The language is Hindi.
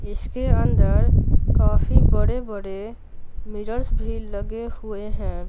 इसके अंदर काफी बड़े-बड़े मिरर्स भी लगे हुए हैं।